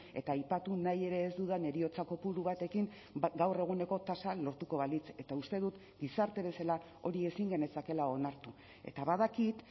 eta aipatu nahi ere ez dudan heriotza kopuru batekin gaur eguneko tasa lortuko balitz eta uste dut gizarte bezala hori ezin genezakeela onartu eta badakit